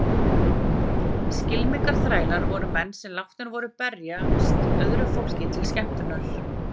Skylmingaþrælar voru menn sem látnir voru berjast öðru fólki til skemmtunar.